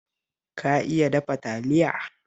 Ka iya dafa Taliya?